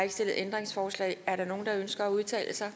ikke stillet ændringsforslag er der nogen der ønsker at udtale sig